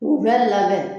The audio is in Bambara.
K'u bɛ labɛn